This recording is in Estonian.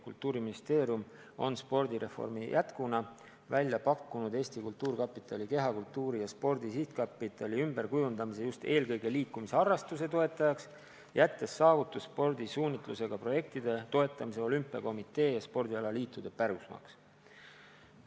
Kultuuriministeerium on spordireformi jätkuna välja pakkunud Eesti Kultuurkapitali kehakultuuri ja spordi sihtkapitali ümberkujundamise just eelkõige liikumisharrastuse toetajaks, jättes saavutusspordi suunitlusega projektide toetamise olümpiakomitee ja spordialaliitude pärusmaaks.